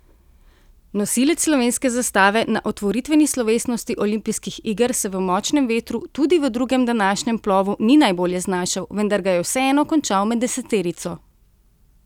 Nosilec slovenske zastave na otvoritveni slovesnosti olimpijskih iger se v močnem vetru, tudi v drugem današnjem plovu ni najbolje znašel, vendar ga je vseeno končal med deseterico.